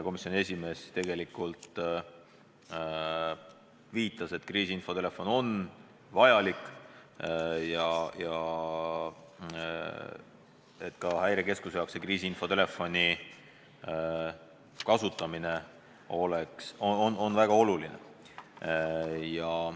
Komisjoni esimees tegelikult viitas, et kriisiinfotelefon on vajalik ja et ka Häirekeskuse jaoks on selle kasutamine väga oluline.